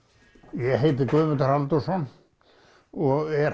ég heiti Guðmundur Halldórsson og er